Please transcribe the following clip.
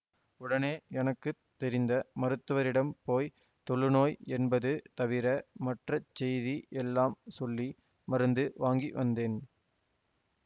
உடனே எனக்கு தெரிந்த மருத்துவரிடம் போய் தொழுநோய் என்பது தவிர மற்ற செய்தி எல்லாம் சொல்லி மருந்து வாங்கிவந்தேன்